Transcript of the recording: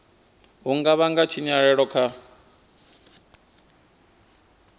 u nga vhanga tshinyalelo kha